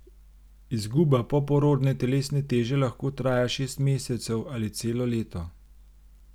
Izguba poporodne telesne teže lahko traja šest mesecev ali celo leto.